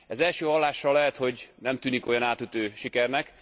Ez első hallásra lehet, hogy nem tűnik olyan átütő sikernek.